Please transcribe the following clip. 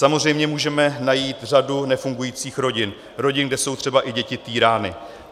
Samozřejmě můžeme najít řadu nefungujících rodin, rodin, kde jsou třeba i děti týrány.